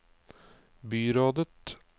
byrådet